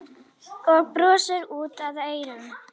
Og brosir út að eyrum.